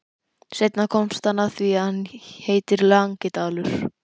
Seinna komst hann að því að hann heitir Langidalur.